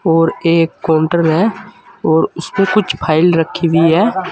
और एक काउंटर है और उस पे कुछ फाइल रखी हुई है।